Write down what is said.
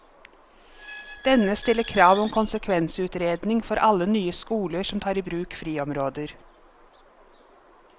Denne stiller krav om konsekvensutredning for alle nye skoler som tar i bruk friområder.